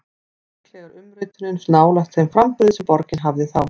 Líklega er umritunin nálægt þeim framburði sem borgin hafði þá.